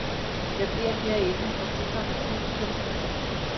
Jeg bliver herinde og bygger. punktum